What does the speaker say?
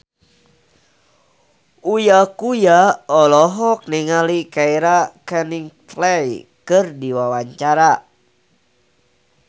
Uya Kuya olohok ningali Keira Knightley keur diwawancara